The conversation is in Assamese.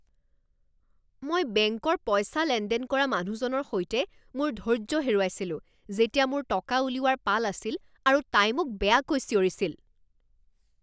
মই বেংকৰ পইচা লেনদেন কৰা মানুহজনৰ সৈতে মোৰ ধৈৰ্য্য হেৰুৱাইছিলো যেতিয়া মোৰ টকা উলিওৱাৰ পাল আছিল আৰু তাই মোক বেয়াকৈ চিঞৰিছিল।